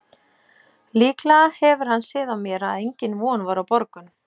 Líklega hefur hann séð á mér að engin von var á borgun.